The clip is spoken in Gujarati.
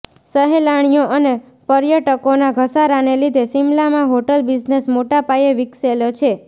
સહેલાણીઓ અને પર્યટકો નાં ઘસારાને લીધે શિમલામાં હોટલ બિઝનેસ મોટાં પાયે વિકસેલો છે